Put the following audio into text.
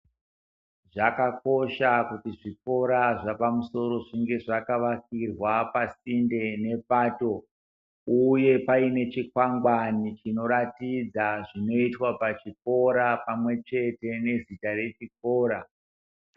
Zvakakosha kuti zvikora zvapamusoro zvinge zvakavakirwa pasinde nepato, uye paine chikwangwani chinoratidza zvinoitwa pachikora pamwe chete nezita rechikora.